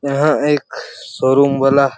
यहाँ एक शोरूम वाला--